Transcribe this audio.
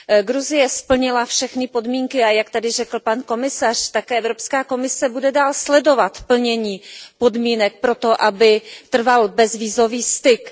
Gruzie splnila všechny podmínky, a jak tady řekl pan komisař, tak Evropská komise bude dál sledovat plnění podmínek pro to, aby trval bezvízový styk.